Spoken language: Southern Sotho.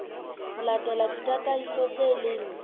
ho latela ditataiso tse leng